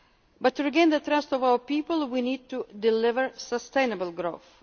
to be done. But to regain the trust of our people we need to deliver sustainable